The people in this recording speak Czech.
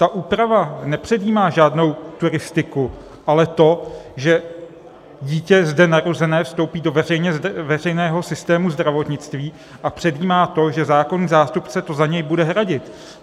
Ta úprava nepředjímá žádnou turistiku, ale to, že dítě zde narozené vstoupí do veřejného systému zdravotnictví, a předjímá to, že zákonný zástupce to za něj bude hradit.